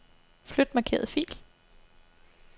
Flyt markerede fil.